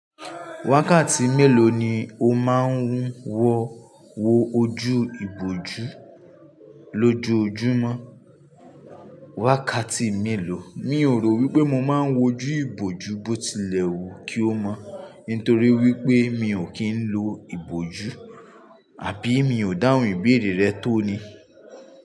Wákàtí mélòó ni o máa ń wo ojú ìbòjú lójoojúmọ́? Wákàtí mélòó, mi ò rò wípé mo máa ń wojú ìbòjú bó ti lẹ̀ wù kí ó mọ́, nítorí wípé mi ò kí ń lo ìbòjú, àbí mi ò dáhùn ìbéèrè rẹ tóní.